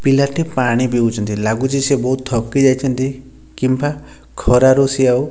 ପିଲା ଟି ପାଣି ପିଉଛନ୍ତି ଲାଗୁଛି ସେ ବହୁତ ଥକି ଯାଇଛନ୍ତି କିମ୍ବା ଖରାରୁ ସେ ଆଉ --